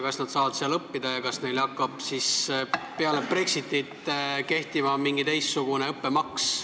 Kas nad saavad seal õppida ja kas peale Brexitit hakkab neil kehtima teistsugune õppemaks?